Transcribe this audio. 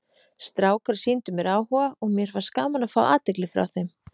Strákar sýndu mér áhuga og mér fannst gaman að fá athygli frá þeim.